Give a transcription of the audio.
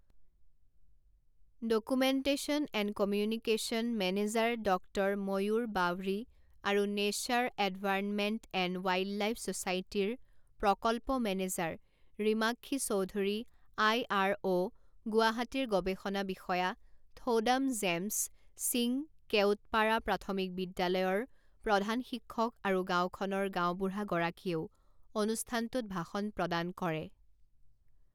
Documentation and communication manager doctor Mayur Bawri আৰু nature environment and wildlife ছ'চাইটীৰ প্ৰকল্প manager Rimakshi Choudhury I R O গুৱাহাটীৰ গৱেষণা বিষয়া থৌদাম জেমছ সিং কেওটপাৰা প্ৰাথমিক বিদ্যালয়ৰ প্ৰধান শিক্ষক আৰু গাঁওখনৰ গাঁওবুঢ়াগৰাকীয়েও অনুষ্ঠানটোত ভাষণ প্ৰদান কৰে।